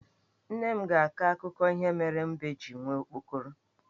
Nne m ga-akọ akụkọ ihe mere mbe ji nwee okpokoro.